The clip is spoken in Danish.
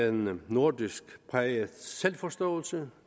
en nordisk præget selvforståelse